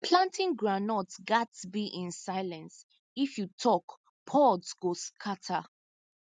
planting groundnut gats be in silence if you talk pods go scatter